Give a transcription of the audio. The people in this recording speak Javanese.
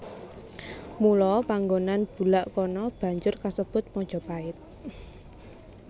Mula panggonan bulak kana banjur kasebut Majapahit